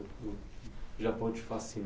O Japão te